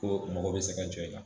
Ko mɔgɔ bɛ se ka jɔ i kan